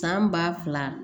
San ba fila